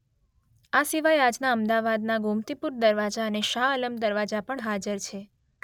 આ સિવાય આજના અમદાવાદનાં ગોમતીપુર દરવાજા અને શાહઆલમ દરવાજા પણ હાજર છે.